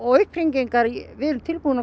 upphringingar við erum tilbúin að